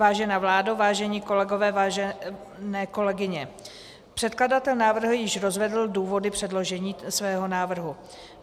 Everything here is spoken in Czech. Vážená vládo, vážení kolegové, vážené kolegyně, předkladatel návrhu již rozvedl důvody předložení svého návrhu.